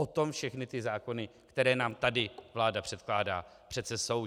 O tom všechny ty zákony, které nám tady vláda předkládá, přece jsou.